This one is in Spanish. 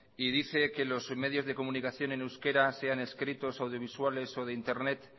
y dice que los medios de comunicación en euskera sean escritos audiovisuales o de internet